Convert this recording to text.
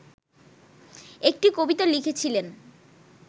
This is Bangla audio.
একটি কবিতা লিখেছিলেন